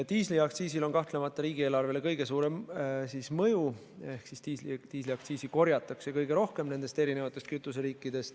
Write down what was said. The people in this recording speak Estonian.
Diisliaktsiisil on kahtlemata riigieelarvele kõige suurem mõju, seda korjatakse rohkem kui muid kütuseaktsiise.